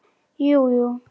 Jú, jú.